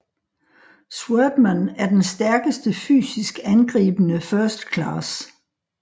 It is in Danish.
Swordman er den stærkeste fysisk angribende First Class